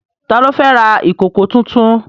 Ta ló fẹ́ ra ìkòkò tuntun?